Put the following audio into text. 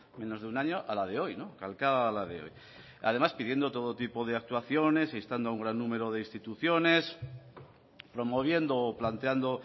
menos de un año a la de hoy calcada a la de hoy además pidiendo todo tipo de actuaciones e instando a un gran número de instituciones promoviendo o planteando